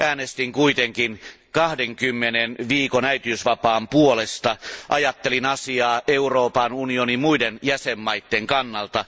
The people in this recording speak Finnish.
Äänestin kuitenkin 20 viikon äitiysvapaan puolesta. Ajattelin asiaa Euroopan unionin muitten jäsenmaitten kannalta.